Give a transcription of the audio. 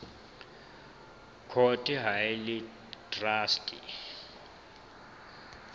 court ha e le traste